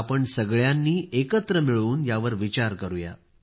आपण सगळ्यांनी एकत्र मिळून यावर विचार करूया